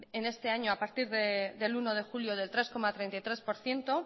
en este año a partir del uno de julio del tres coma treinta y tres por ciento